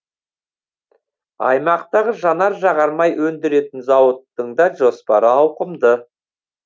аймақтағы жанар жағармай өндіретін зауыттың да жоспары ауқымды